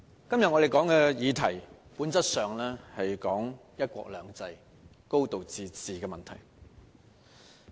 主席，我們今天討論的議題，本質上是討論"一國兩制"、"高度自治"的問題。